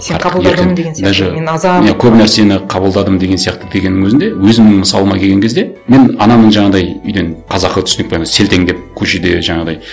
мен көп нәрсені қабылдадым деген сияқты дененнің өзінде өзімнің мысалыма келеген кезде мен анамның жаңағындай үйден қазақы түсінікпен селтеңдеп көшеде жаңағыдай